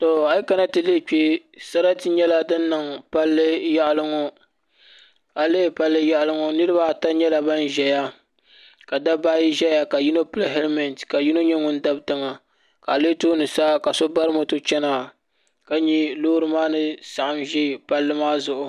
To ayi kana ti lihi kpɛ sarati nyɛla din niŋ palli yaɣali ŋɔ a yi lihi palli yaɣali ŋɔ niraba ata nyɛla ban ʒɛya ka dabba ayi ʒɛya ka yino pili hɛlmɛnt ka yino nyɛ ŋun dabi tiŋa ka a lihi tooni sa ka so bari moto chɛna ka nyɛ loori maa ni saɣam ʒi palli maa zuɣu